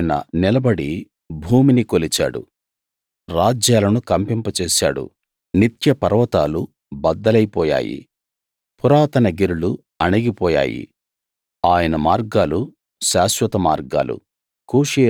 ఆయన నిలబడి భూమిని కొలిచాడు రాజ్యాలను కంపింప జేశాడు నిత్య పర్వతాలు బద్దలైపోయాయి పురాతన గిరులు అణిగి పోయాయి ఆయన మార్గాలు శాశ్వత మార్గాలు